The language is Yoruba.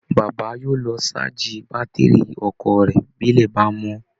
Bàbá yóò lọ ṣáàjì bátìrì ọkọ̀ rẹ̀ bí ilẹ̀ bá mọ́